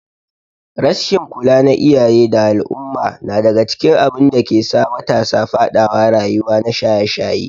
rasshin kula na iyaye da al umma nadaga cikin abinda dakesa matasa fadawa rayuwa na shaye shaye